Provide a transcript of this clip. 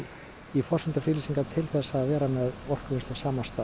í forsendum friðlýsingar til þess að vera með orkuvinnslu á sama stað